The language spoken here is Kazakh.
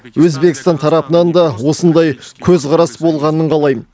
өзбекстан тарапынан да осындай көзқарас болғанын қалаймын